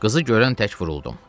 Qızı görən tək vuruldum.